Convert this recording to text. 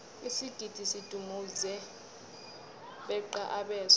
isigidi sidumuze beqa abeswa